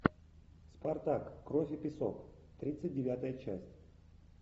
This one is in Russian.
спартак кровь и песок тридцать девятая часть